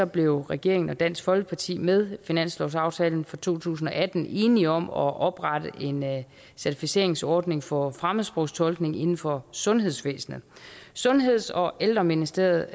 blev regeringen og dansk folkeparti med finanslovsaftalen for to tusind og atten enige om at oprette en certificeringsordning for fremmedsprogstolkning inden for sundhedsvæsenet sundheds og ældreministeriet